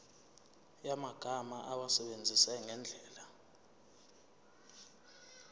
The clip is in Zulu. yamagama awasebenzise ngendlela